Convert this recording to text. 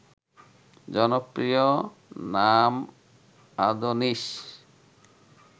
জনপ্রিয় নাম আদোনিস